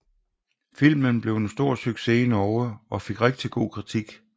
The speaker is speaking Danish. Filmen blev en stor success i Norge og fik rigtig god kritik